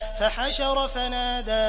فَحَشَرَ فَنَادَىٰ